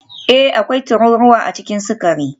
Ee, akwai tururuwa a cikin sukari